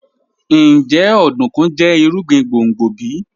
Njẹ ọdunkun jẹ irugbin gbongbo bi?